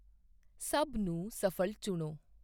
ਸਭ ਨੂੰ ਸ਼ਫ਼ਲ ਚੁਣੋ